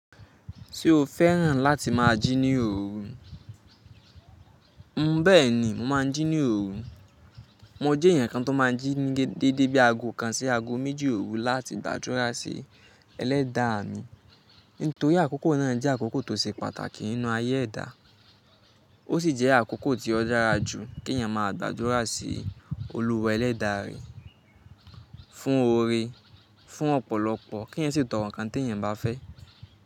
Tí o fẹ́ràn láti máa jí ní òru, bẹ́ẹ̀ni mo máa ń jí ní òru. Mo jẹ́ èèyàn kan tó máa ń jí ní dédé bí i ago kan sí ago méjì òru láti gbàdúrà sí ẹlẹ́da à mi. Nítorí àkókò ná jẹ́ àkókò tí ó ṣe pàtàkì nínú ayé ẹ̀dá. Ó sì jẹ́ àkókò tí ó dára jù kí èèyàn máa gbàdúrà sí olúwa ẹlẹ́dà rẹ fún oore, fún ọ̀pọ̀lọpọ̀ kí èèyàn sì tọ̀rọ̀ ǹkan tí èèyàn bá fẹ́.